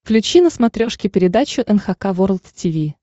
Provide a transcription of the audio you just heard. включи на смотрешке передачу эн эйч кей волд ти ви